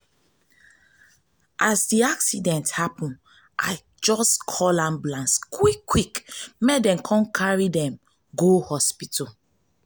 as di accident happen i just call ambulance quick-quick dem carry dem go hospital.